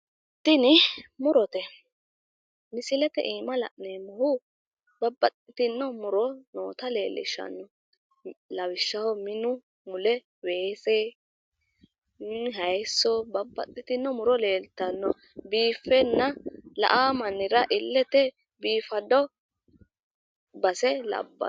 Tini murote misilete iima la'neemmohu babbaxxino muro nootta leellishshanno lawishshaho, minu mule weese haayiso babbaxxitino muro leeltannoe biiffenna la"awo mannira illete biifado base labbanno.